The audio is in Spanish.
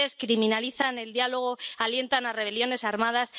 Ustedes criminalizan el diálogo, alientan a rebeliones armadas.